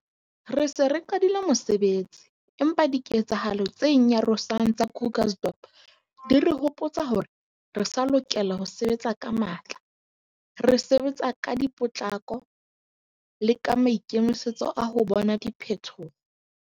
Re se re qadile mosebetsi, empa diketsehalo tse nyarosang tsa Krugersdorp di re hopotsa hore re sa lokela ho sebetsa ka matla, re sebetsa ka potlako le ka maikemisetso a ho bona diphetho.